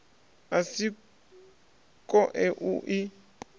a si koe u i